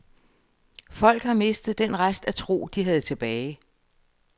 Folk har mistet den rest af tro, de havde tilbage.